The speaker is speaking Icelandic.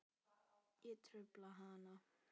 Ég trufla hana.